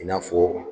I n'a fɔ